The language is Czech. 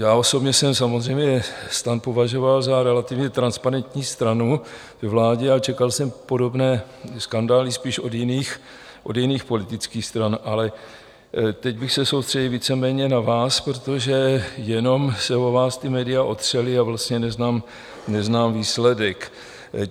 Já osobně jsem samozřejmě STAN považoval za relativně transparentní stranu ve vládě a čekal jsem podobné skandály spíš od jiných politických stran, ale teď bych se soustředil víceméně na vás, protože jenom se o vás ta média otřela a vlastně neznám výsledek.